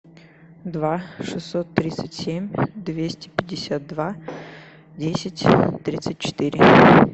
два шестьсот тридцать семь двести пятьдесят два десять тридцать четыре